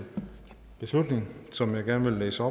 vedtagelse som jeg gerne vil læse